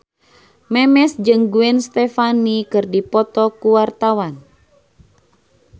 Memes jeung Gwen Stefani keur dipoto ku wartawan